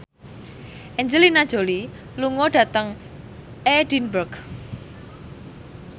Angelina Jolie lunga dhateng Edinburgh